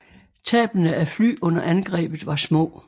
Tabene af fly under angrebet var små